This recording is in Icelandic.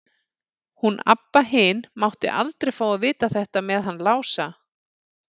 Hún Abba hin mátti aldrei fá að vita þetta með hann Lása.